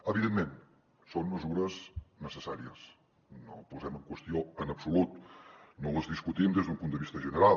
evidentment són mesures necessàries no ho posem en qüestió en absolut no les discutim des d’un punt de vista general